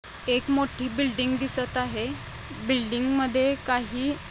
एक मोठी बिल्डिंग दिसत आहे. बिल्डिंग मधे काही --